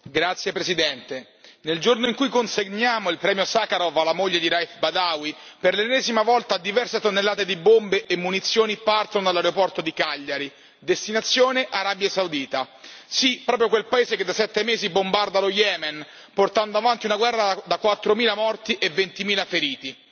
Signora Presidente, onorevoli colleghi, nel giorno in cui consegniamo il premio Sacharov alla moglie di Raif Badawi, per l'ennesima volta diverse tonnellate di bombe e munizioni partono dall'aeroporto di Cagliari, destinazione Arabia Saudita. Sì, proprio quel paese che da sette mesi bombarda lo Yemen, portando avanti una guerra da quattromila morti e ventimila feriti.